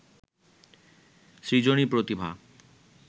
সৃজনী প্রতিভা